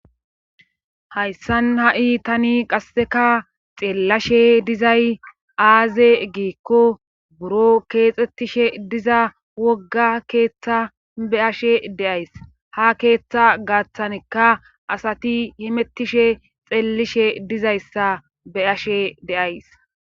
hayssan ha7i tani qasseka xeellashe dizay aaze giikko buro keexxettishe diza wogga keeththa be ashe de'ays ha keeththa gaaththanikka asati himettishe xeellishe dizayssa be ashe deays